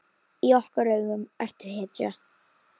Í okkar augum ertu hetja.